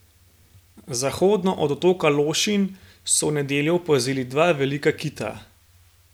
Zahodno od otoka Lošinj so v nedeljo opazili dva velika kita.